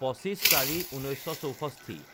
২৫/০৪/১৯৬৪